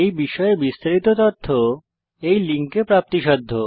এই বিষয়ে বিস্তারিত তথ্য এই লিঙ্কে প্রাপ্তিসাধ্য